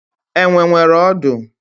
Enwe nwere ọdụ.